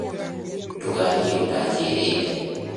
Ndũgathiĩ ũtanjĩrĩte